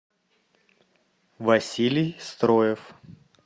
василий строев